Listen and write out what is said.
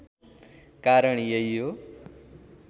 कारण यही हो